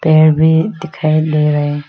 पेड़ भी दिखाई दे रहे।